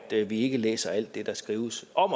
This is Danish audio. vi ikke læser alt det der skrives om